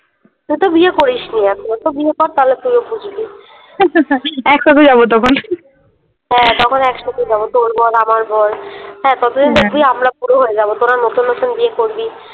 তুইতো বিয়ে করিসনি এখনও বিয়ে কর তাহলে তুইও বুঝবি। একসাথে যাবো তখন । হ্যাঁ তখন একসাথে যাবো তোর বর আমার বর, হ্যাঁ ততদিন দেখবি আমরা বুড়ো হয়ে যাবো, তোরা নতুন নতুন বিয়ে করবি।